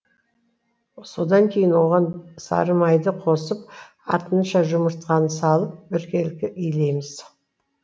содан кейін оған сары майды қосып артынша жұмыртқаны салып біркелкі илейміз